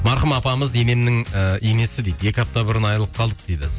марқұм апамыз енемнің ыыы енесі дейді екі апта бұрын айрылып қалдық дейді